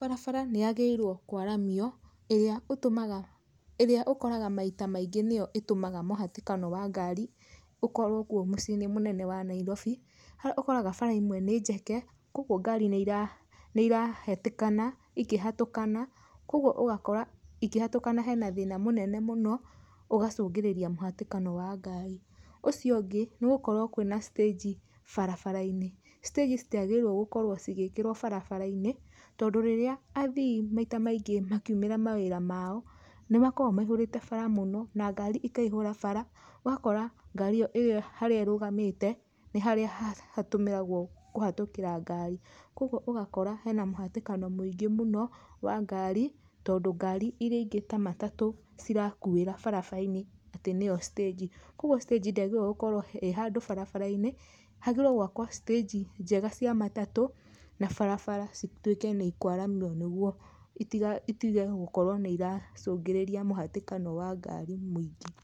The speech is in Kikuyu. Barabara nĩyagĩrĩirwo kwaramio ĩrĩa ũtũmaga, ĩrĩa ũkoraga maita maingĩ nĩyo ĩtũmaga mũhatĩkano wa ngari ũkorwo kuo mũciĩ-inĩ mũnene wa Nairobi, harĩa ũkoraga bara imwe nĩ njeke, kwogwo ngari nĩira, nĩirahetĩkana ĩkĩhatũkana, kwogwo ũgakora ĩkĩhatũkana hena thĩna mũnene mũno ũgacungĩrĩria mũhatĩkano wa ngari. Ũcio ũngĩ nĩ gũkorwo kwĩna stage barabara-inĩ. stage citiagĩrĩirwo gũkorwo cigĩkĩrwo barabara-inĩ, tondũ rĩrĩa athii maita maingĩ makiumĩra mawĩra mao, nĩmakoo maihũrĩte bara mũno, na ngari ikaihũra bara, ũgakora ngari ĩyo ĩrĩa harĩa ĩrũgamĩte nĩ harĩa hatũmĩragwo kũhetũkĩra ngari. Kwogwo ũgakora hena mũhatĩkano mũingĩ mũno wa ngari, tondũ ngari iria ingĩ ta matatũ cirakuĩra barabara-inĩ atĩ nĩyo stage. Kwogwo stage ndĩagĩrĩirwo gũkorwo ĩ handũ barabara-inĩ, hagĩrĩirwo gwakwo stage njega cia matatũ na barabara cituĩke nĩ ĩkwaramio nĩgwo itiga, itige gũkorwo nĩiracungĩrĩria mũhatĩkano wa ngari mũingĩ.